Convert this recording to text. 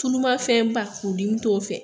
tulumafɛnba furudimi t'o fɛ